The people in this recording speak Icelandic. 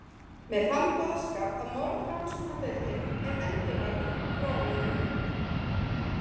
Með þann boðskap að morðrannsóknardeildin er endurvakin, frá og með nú.